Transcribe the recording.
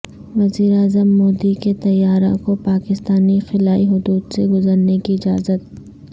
وزیراعظم مودی کے طیارہ کو پاکستانی خلائی حدود سے گزرنے کی اجازت